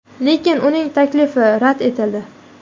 Lekin uning taklifi rad etildi.